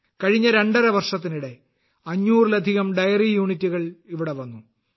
കഴിഞ്ഞ രണ്ടര വർഷത്തിനിടെ 500ലധികം ഡയറി യൂണിറ്റുകൾ ഇവിടെ വന്നു